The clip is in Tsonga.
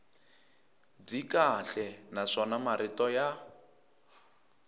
byi kahle naswona marito ya